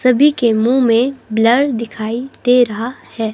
सभी के मुंह में ब्लर दिखाई दे रहा है.